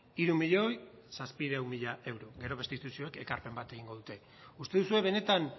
hiru milioi zazpiehun mila euro gero beste instituzioek ekarpen bat egingo dute uste duzue benetan